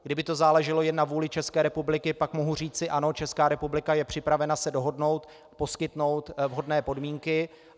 Kdyby to záleželo jen na vůli České republiky, pak mohu říci: Ano, Česká republika je připravena se dohodnout, poskytnout vhodné podmínky.